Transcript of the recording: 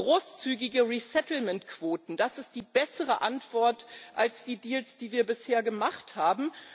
Großzügige Resettlement Quoten sind die bessere Antwort als die Deals, die wir bisher gemacht haben.